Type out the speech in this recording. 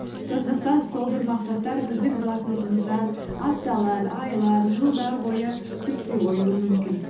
сондықтан сол бір мақсаттар біздің блокнотымыздан апталар айлар жылдар бойы түспей қоюы мүмкін